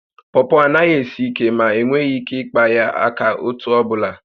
Pọpọ anaghi esi ike, ma enweghị ike ịkpa ya aka otú ọbụla